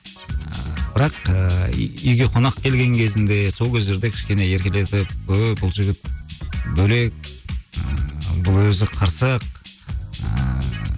ыыы бірақ үйге қонақ келген кезінде сол кездерде кішкене еркелетіп ооо бұл жігіт бөлек ыыы бұл өзі қырсық ыыы